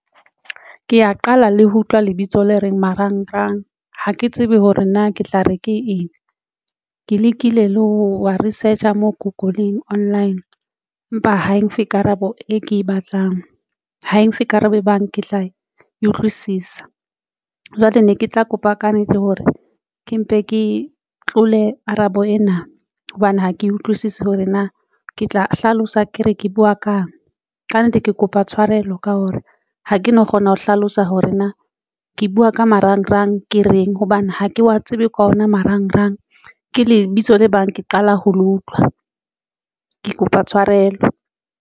Ke ya qala le ho utlwa lebitso le reng marangrang ha ke tsebe hore na ke tla re ke eng, ke lekile le ho wa research mo google-ing online empa ha e nfe karabo e ke batlang ho e nfe karabo e bang ke tla utlwisisa jwale ne ke tla kopa kannete hore ke mpe ke tlole karabo ena hobane ha ke utlwisisi hore na ke tla hlalosa ke re ke buwa kang. Kannete ke kopa tshwarelo ka hore ha ke no kgona ho hlalosa hore ke na ke buwa ka marangrang ke reng hobane ha ke wa tsebe ka ona marangrang ke lebitso le bang ke qala ho lo utlwa ke kopa tshwarelo.